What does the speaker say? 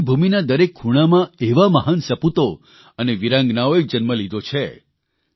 ભારતની ભૂમિના દરેક ખૂણામાં એવા મહાન સપૂતો અને વીરાંગનાઓએ જન્મ લીધો છે